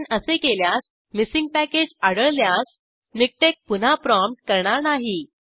आपण असे केल्यास मिसींग पॅकेज आढळल्यास मिकटेक्स पुन्हा प्रॉमप्ट करणार नाही